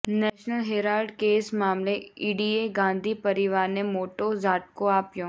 national Herald case મામલે ઈડીએ ગાંધી પરિવારને મોટો ઝાટકો આપ્યો